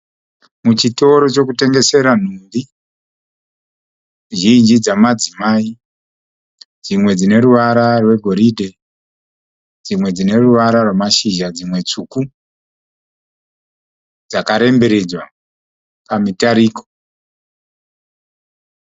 Muchitoro chekutengesera nhumbi zhinji dzamadzimai. Dzimwe dzine ruvara rwegoridhe dzimwe dzine ruvara rwamashizha dzimwe tsvuku. Dzakaremberedzwa pamitariko.